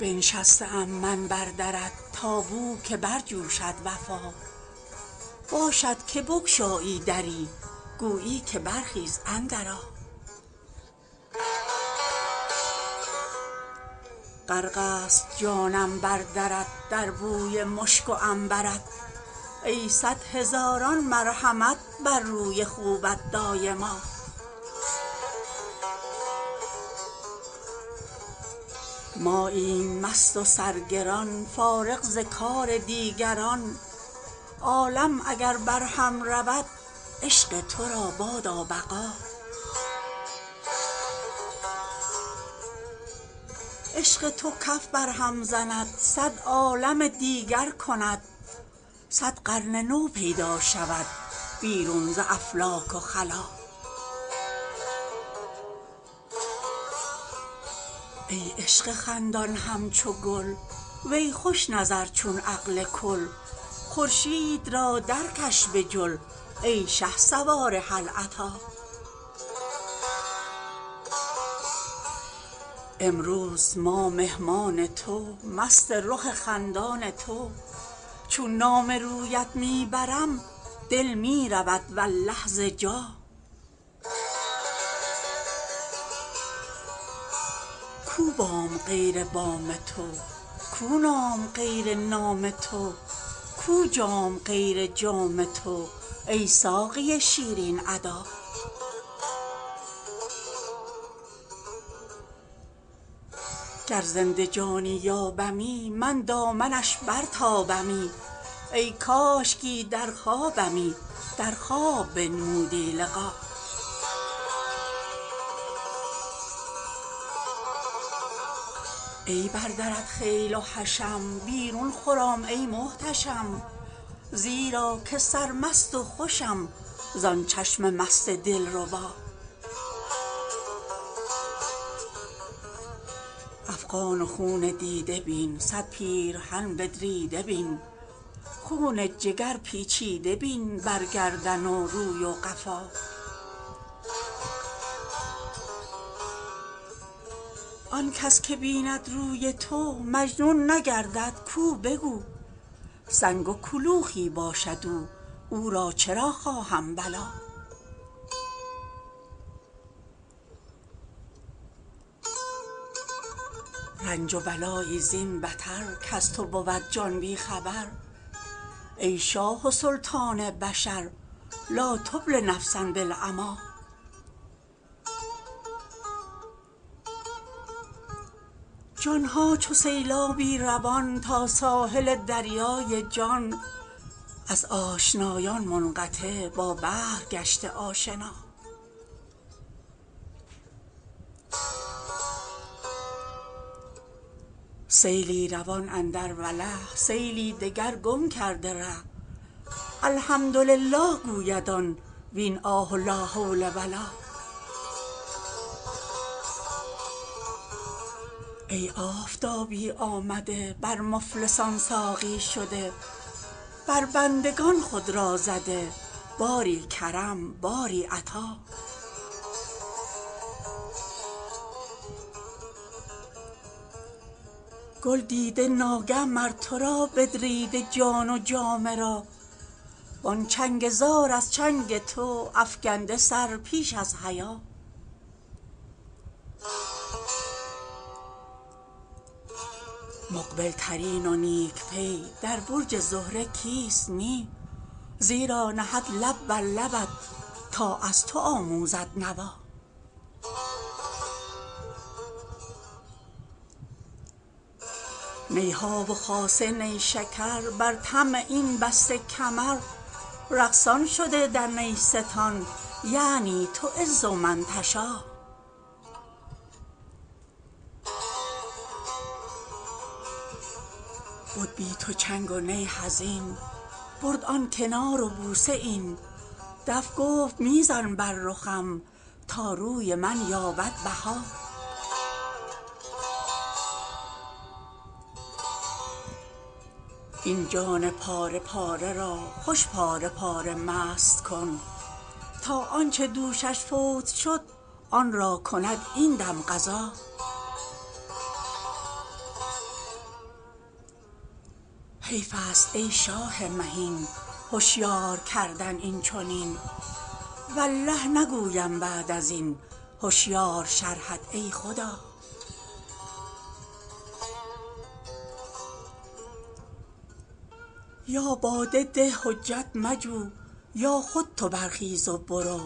بنشسته ام من بر درت تا بوک برجوشد وفا باشد که بگشایی دری گویی که برخیز اندرآ غرق ست جانم بر درت در بوی مشک و عنبر ت ای صد هزاران مرحمت بر روی خوبت دایما ماییم مست و سرگران فارغ ز کار دیگران عالم اگر برهم رود عشق تو را بادا بقا عشق تو کف برهم زند صد عالم دیگر کند صد قرن نو پیدا شود بیرون ز افلاک و خلا ای عشق خندان همچو گل وی خوش نظر چون عقل کل خورشید را درکش به جل ای شهسوار هل اتی امروز ما مهمان تو مست رخ خندان تو چون نام رویت می برم دل می رود والله ز جا کو بام غیر بام تو کو نام غیر نام تو کو جام غیر جام تو ای ساقی شیرین ادا گر زنده جانی یابمی من دامنش برتابمی ای کاشکی در خوابمی در خواب بنمودی لقا ای بر درت خیل و حشم بیرون خرام ای محتشم زیرا که سرمست و خوشم زان چشم مست دلربا افغان و خون دیده بین صد پیرهن بدریده بین خون جگر پیچیده بین بر گردن و روی و قفا آن کس که بیند روی تو مجنون نگردد کو به کو سنگ و کلوخی باشد او او را چرا خواهم بلا رنج و بلایی زین بتر کز تو بود جان بی خبر ای شاه و سلطان بشر لا تبل نفسا بالعمی جان ها چو سیلابی روان تا ساحل دریای جان از آشنایان منقطع با بحر گشته آشنا سیلی روان اندر وله سیلی دگر گم کرده ره الحمدلله گوید آن وین آه و لا حول و لا ای آفتابی آمده بر مفلسان ساقی شده بر بندگان خود را زده باری کرم باری عطا گل دیده ناگه مر تو را بدریده جان و جامه را وان چنگ زار از چنگ تو افکنده سر پیش از حیا مقبل ترین و نیک پی در برج زهره کیست نی زیرا نهد لب بر لبت تا از تو آموزد نوا نی ها و خاصه نیشکر بر طمع این بسته کمر رقصان شده در نیستان یعنی تعز من تشا بد بی تو چنگ و نی حزین برد آن کنار و بوسه این دف گفت می زن بر رخم تا روی من یابد بها این جان پاره پاره را خوش پاره پاره مست کن تا آن چه دوشش فوت شد آن را کند این دم قضا حیف است ای شاه مهین هشیار کردن این چنین والله نگویم بعد از این هشیار شرحت ای خدا یا باده ده حجت مجو یا خود تو برخیز و برو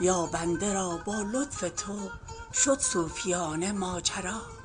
یا بنده را با لطف تو شد صوفیانه ماجرا